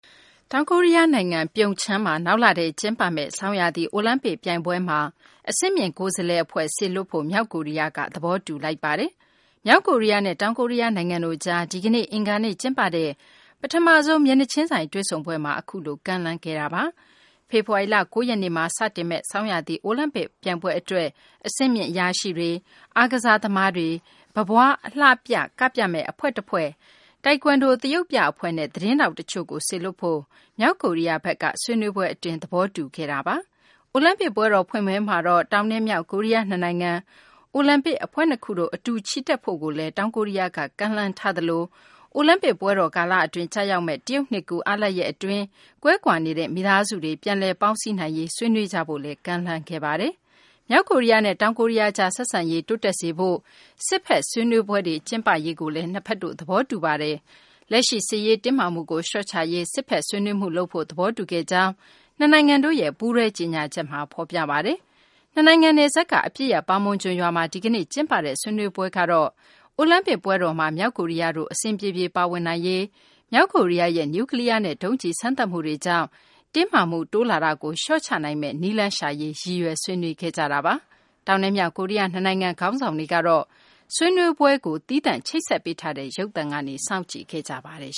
တောင်ကိုရီးယား နိုင်ငံ ပြုံချမ်းမှာ နောက်လထဲ ကျင်းပမယ့် ဆောင်းရာသီ အိုလံပစ် ပြိုင်ပွဲမှာ အဆင့်မြင့် ကိုယ်စားလှယ် အဖွဲ့ စေလွှတ်ဖို့ မြောက်ကိုရီးယားက သဘောတူလိုက်ပါပြီ။ မြောက်ကိုရီးယားနဲ့ တောင်ကိုရီးယား နိုင်ငံတို့ကြား ဒီကနေ့ အင်္ဂါနေ့ ကျင်းပတဲ့ ပထမဆုံး မျက်နှာချင်းဆိုင်တွေ့ဆုံပွဲမှာ အခုလို ကမ်းလှမ်းခဲ့တာပါ။ ဖေဖော်ဝါရီလ ၉ ရက်နေ့မှာ စတင်မယ့် ဆောင်းရာသီ အိုလံပစ် ပြိုင်ပွဲ အတွက် အဆင့်မြင့် အရာရှိတွေ၊ အားကစားသမားတွေ၊ ပန်းပွားအလှပြ ကပြမယ့် အဖွဲ့တဖွဲ့၊ တိုက်ကွမ်ဒို သရုပ်ပြ အဖွဲ့နဲ့ သတင်းထောက် တချို့ကို စေလွှတ်ဖို့ မြောက်ကိုရီးယားဘက်က ဆွေးနွေးပွဲ အတွင်း သဘောတူခဲ့ပါတယ်။ အိုလံပစ် ပွဲတော် ဖွင့်ပွဲမှာတော့ တောင်နဲ့ မြောက် ကိုရီးယား နှစ်နိုင်ငံ အိုလံပစ် အဖွဲ့နှစ်ခုတို့ အတူ ချီတက်ဖို့ကိုလည်း တောင်ကိုရီးယားဘက်က ကမ်းလှမ်းထားသလို အိုလံပစ် ပွဲတော် ကာလအတွင်း ကျရောက်မယ့် တရုတ်နှစ်ကူး အားလပ်ရပ် အတွင်း ကွဲကွာနေတဲ့ မိသားစုတွေ ပြန်လည်ပေါင်းစည်းနိုင်ရေး ဆွေးနွေးကြဖို့လည်း ကမ်းလှမ်းခဲ့ပါတယ်။ မြောက်ကိုရီးယားနဲ့ တောင်ကိုရီးယားကြား ဆက်ဆံရေး တိုးတက်စေဖို့ စစ်ဘက် ဆွေးနွေးပွဲတွေ ကျင်းပရေး နှစ်ဘက်တို့ သဘောတူခဲ့ကြပါတယ်။ လက်ရှိ စစ်ရေး တင်းမာမှုကို လျှော့ချရေး စစ်ဘက် ဆွေးနွေးမှု လုပ်ဖို့ သဘောတူခဲ့ကြောင်း နှစ်နိုင်ငံတို့ရဲ့ ပူးတွဲ ကြေညာချက်မှာ ဖော်ပြပါတယ်။ နှစ်နိုင်ငံ နယ်စပ်က အပစ်ရပ် ပါမွန်ဂျွန်ရွာမှာ ဒီကနေ့ ကျင်းပခဲ့တဲ့ ဆွေးနွေးပွဲ့တော့ အိုလံပစ်ပွဲတော်မှာ မြောက်ကိုရီးယားတို့ အဆင်ပြေပြေ ပါဝင်နိုင်ရေး၊ မြောက်ကိုရီးယားရဲ့ နျူးကလီးယားနဲ့ ဒုံးကျည် စမ်းသပ်မှုတွေကြောင့် တင်းမာမှု တိုးလာတာကို လျှော့ချနိုင်မယ့် နည်းလမ်းရှာရေး ရည်ရွယ် ဆွေးနွေးခဲ့ကြတာပါ။ တောင်နဲ့ မြောက် ကိုရီးယား နှစ်နိုင်ငံ ခေါင်းဆောင်တွေကတော့ ဆွေးနွေးပွဲကို သီးသန့် ချိတ်ဆက်ပေးထားတဲ့ ရုပ်သံကနေ စောင့်ကြည့်ခဲ့ကြပါတယ်